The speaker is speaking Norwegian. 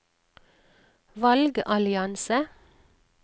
valgallianse